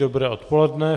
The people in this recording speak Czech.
Dobré odpoledne.